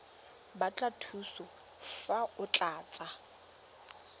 batla thuso fa o tlatsa